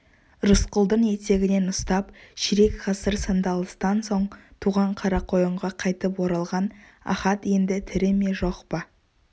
рысқұлдың етегінен ұстап ширек ғасыр сандалыстан соң туған қарақойынға қайтып оралған ахат енді тірі ме жоқ па